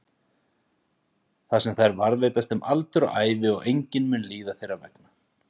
Þar sem þær varðveitast um aldur og ævi og enginn mun líða þeirra vegna.